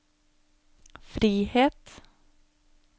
frihet